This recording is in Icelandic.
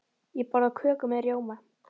Ég borða köku með rjóma.